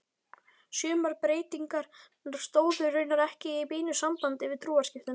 Sumar breytingarnar stóðu raunar ekki í beinu sambandi við trúarskiptin.